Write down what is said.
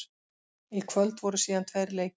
Í kvöld voru síðan tveir leikir.